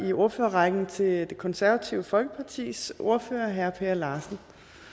i ordførerrækken til det konservative folkepartis ordfører herre per larsen